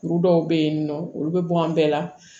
Kuru dɔw bɛ yen nɔ olu bɛ bɔ an bɛɛ la